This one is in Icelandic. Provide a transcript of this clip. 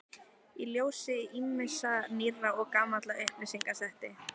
Í ljósi ýmissa nýrra og gamalla upplýsinga setti